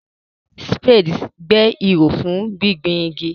Spades gbẹ́ ihò fún gbígbin igi.